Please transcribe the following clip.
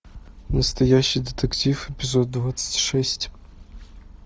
настоящий детектив эпизод двадцать шесть